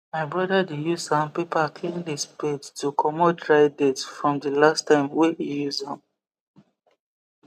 my broda dey use sandpaper clean the spade to comot dry dirt from the last time wey e use am